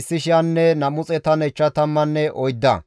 Biguwaye zereththati 2,056,